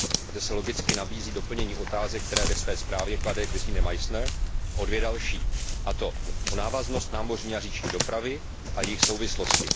Zde se logicky nabízí doplnění otázek, které ve své zprávě klade Gesine Meissnerová, o dvě další, a to o návaznost námořní a říční dopravy a jejich souvislosti.